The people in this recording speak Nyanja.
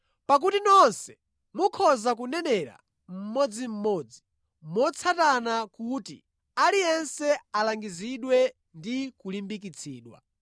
Pakuti nonse mukhoza kunenera mmodzimmodzi motsatana kuti aliyense alangizidwe ndi kulimbikitsidwa.